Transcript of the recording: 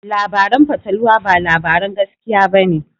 Labaran fatalwa ba labaran gaskiya ba ne.